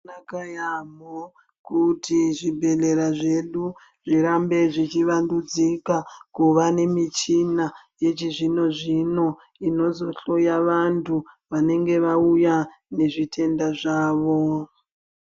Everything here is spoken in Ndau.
Zvakanaka yaampho, kuti zvibhedhlera zvedu zvirambe zvichivandudzika kuva nemichina yechizvino-zvino inozohloya vanhu vanenge vauya nezvitenda zvavo.